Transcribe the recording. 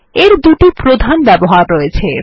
এর দুটি প্রধান ব্যবহার রয়েছে